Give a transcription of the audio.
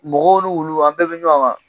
Mɔgɔw ni wuluw an bɛɛ bɛ ɲɔgɔn kan